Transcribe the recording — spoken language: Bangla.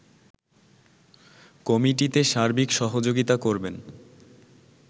কমিটিতে সার্বিক সহযোগিতা করবেন